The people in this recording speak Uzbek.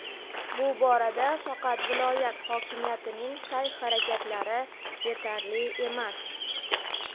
bu borada faqat viloyat hokimiyatining sa’y-harakatlari yetarli emas.